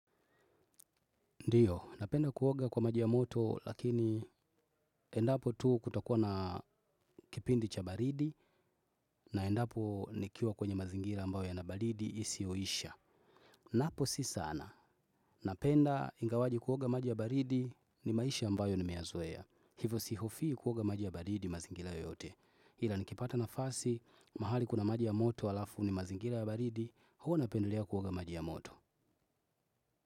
Ndiyo, napenda kuoga kwa maji ya moto lakini endapo tu kutakuwa na kipindi cha baridi na endapo nikiwa kwenye mazingira ambayo yana baridi isiyo isha. Napo si sana, napenda ingawaje kuoga maji ya baridi ni maisha ambayo nimeyazoea. Hivyo sihofii kuoga maji ya baridi mazingira yote. Ila nikipata nafasi mahali kuna maji ya moto alafu ni mazingira ya baridi, huwa napendelea kuoga maji ya moto.